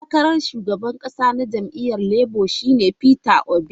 Dan takarar shugaban kasa na jam'iyyar Labour shi ne Mista Peter Obi.